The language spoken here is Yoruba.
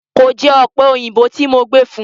Kò jẹ ọ̀pẹ òyìnbó tí mo gbé fún un.